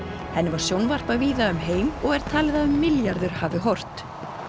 henni var sjónvarpað víða um heim og er talið að um milljarður hafi horft